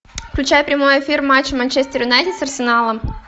включай прямой эфир матч манчестер юнайтед с арсеналом